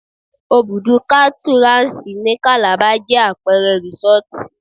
Òbùdù kátú Ranṣ ní Kàlàba jẹ́ àpẹẹrẹ rísọ́tì